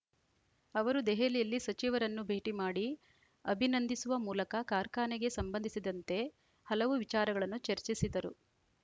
ಅವರು ದೆಹಲಿಯಲ್ಲಿ ಸಚಿವರನ್ನು ಭೇಟಿ ಮಾಡಿ ಅಭಿನಂದಿಸುವ ಮೂಲಕ ಕಾರ್ಖಾನೆಗೆ ಸಂಬಂಧಿಸಿದಂತೆ ಹಲವು ವಿಚಾರಗಳನ್ನು ಚರ್ಚಿಸಿದರು